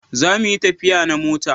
Za mu yi tafiya da mota!